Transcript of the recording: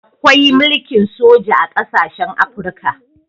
Akwai mulkin soja a ƙasashen Afirika.